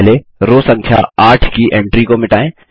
सबसे पहले रो संख्या 8 की एंट्री को मिटाएँ